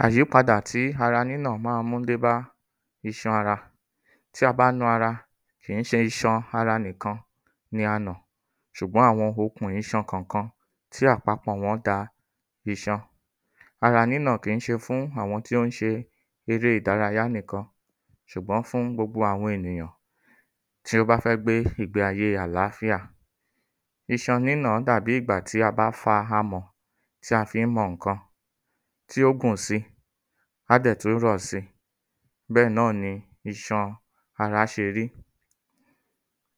﻿Àyípadà tí ara nínà má ń mú dé bá iṣan ara Tí a bá na ara kì ń ṣe iṣan ara nìkan ni a nà ṣùgbọ́n àwọn okùn iṣan kọ̀kan tí àpapọ̀ wọ́n da iṣan. Ara nínà kì í ń ṣe fún àwọn tí ó ń ṣe eré ìdárayá nìkan ṣùgbọ́n fún gbogbo àwọn enìyàn tí o bá fẹ́ gbe ìgbé ayé àláfíà. Iṣan nínà dàbí ìgbà tí a bá fa amọ̀ tí a fí ń mọ ǹkan tí ó gùn si á dẹ̀ tú rọ̀ si bẹ́ẹ̀ náà ni iṣan ara ṣe rí.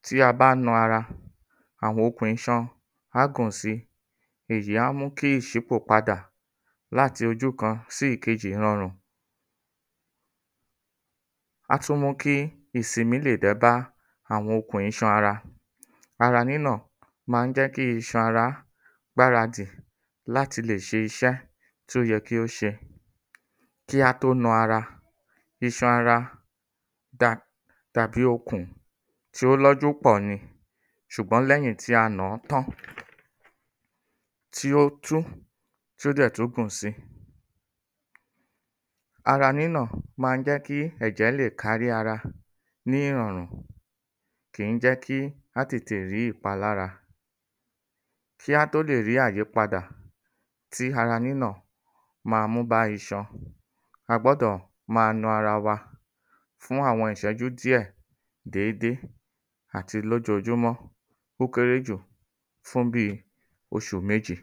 Tí a bá na ara àwọn okùn iṣan á gùn si èyí á mú kí ìṣípò padà láti ojú kan sí ìkejì rọrùn. Á tú mú kí ìsinmí lè lo bá àwọn okùn iṣan ara. Ara nínà ma ń jẹ́ kí iṣan ara gbáradì láti lè ṣe iṣẹ́ tó yẹ kí ó ṣe. Kí á tó na ara, iṣan ara ṣe ó lọ́jú pọ̀ ni ṣùgbọ́n lẹ́yìn tí a nàá tán tí ó tú tí ó dẹ̀ tú gùn si. Ara nínà má ń jẹ́ kí ẹ̀jẹ̀ lè kárí ara ní ìrọ̀rùn. Kì ń jẹ́ kí á tètè rí ìpalára. Kí á tó lè rí àyípadà tí ara nínà ma mú bá iṣan, a gbọ́dọ̀ ma na ara wa fún àwọn ìṣẹ́jú díẹ̀ dédé àti lójojúmọ́. Ó kéré jù fún bí i oṣù méjì.